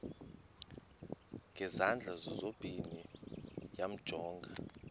ngezandla zozibini yamjonga